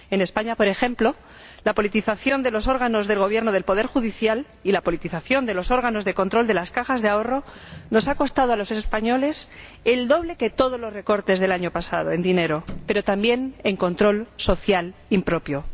En España, por ejemplo, la politización de los órganos de gobierno del poder judicial y la politización de los órganos de control de las cajas de ahorro nos ha costado a los españoles el doble que todos los recortes del año pasado, en dinero, pero también en control social impropio.